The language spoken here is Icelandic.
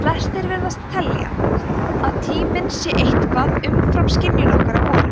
flestir virðast telja að tíminn sé eitthvað umfram skynjun okkar á honum